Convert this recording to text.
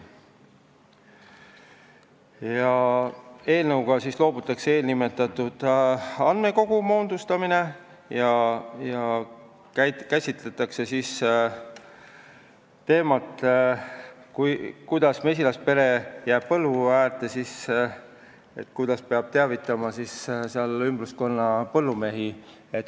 Eelnõuga loobutakse nimetatud andmekogu moodustamisest ja käsitletakse teemat, et kui mesilaspere on põllu ääres, siis kuidas peab teavitama ümbruskonna põllumehi.